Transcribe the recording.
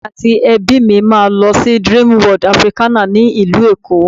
Èmi àti ẹbí mi a lọ sí Dreamworld Africana ni ìlú Èkó.